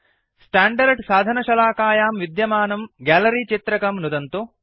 standard साधनशलाकायां विद्यमानं gallery चित्रकं नुदन्तु